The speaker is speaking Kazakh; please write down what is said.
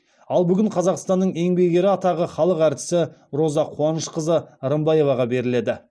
ал бүгін қазақстанның еңбек ері атағы халық әртісі роза қуанышқызы рымбаеваға беріледі